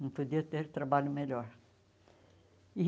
Não podia ter trabalho melhor. E